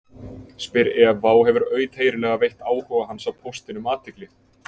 spyr Eva og hefur auðheyrilega veitt áhuga hans á póstinum athygli.